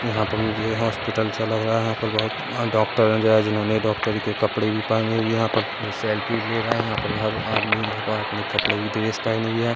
यहाँ पर मुझे हॉस्पिटल सा लग रहा है यहाँ पर बहोत डॉक्टर जो है जिन्होंने डॉक्टरी के कपड़े भी पहने हुए है यहाँ पर सेलफ़ी ले रहे है यहाँ पर हर आदमी यहाँ पर अपने कपड़े भी ड्रेस पहने है।